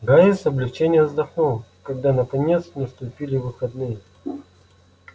гарри с облегчением вздохнул когда наконец наступили выходные